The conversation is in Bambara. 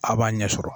A b'a ɲɛ sɔrɔ